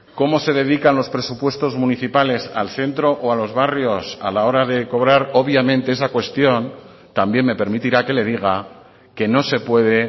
cómo se dedican los presupuestos municipales al centro o a los barrios a la hora de cobrar obviamente esa cuestión también me permitirá que le diga que no se puede